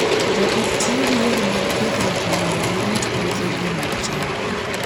Jopur tiyo gi yore mag pidhruok mondo girit puothegi mag cham.